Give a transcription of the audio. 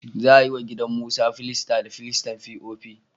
Za a yi wa gidan Musa filasta da filastar fi'ofi